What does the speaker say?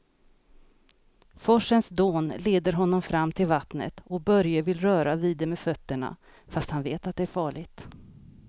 Forsens dån leder honom fram till vattnet och Börje vill röra vid det med fötterna, fast han vet att det är farligt.